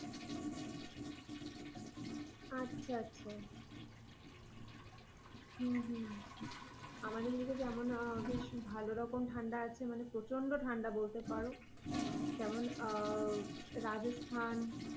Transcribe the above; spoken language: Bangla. আচ্ছা, আচ্ছা, আমাদের এদিকে যেমন বেশ ভালো রকম ঠান্ডা আছে, মানে প্রচন্ড ঠান্ডা বলতে পারো। যেমন রাজস্থান,